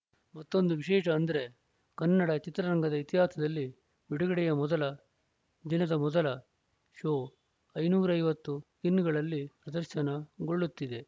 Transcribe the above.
ಮತ್ತೊಂದು ವಿಶೇಷ ಅಂದ್ರೆ ಕನ್ನಡ ಚಿತ್ರರಂಗದ ಇತಿಹಾಸದಲ್ಲಿ ಬಿಡುಗಡೆಯ ಮೊದಲ ದಿನದ ಮೊದಲ ಶೋ ಐದುನೂರ ಐವತ್ತು ಸ್ಕೀನ್‌ಗಳಲ್ಲಿ ಪ್ರದರ್ಶನ ಗೊಳ್ಳುತ್ತಿದೆ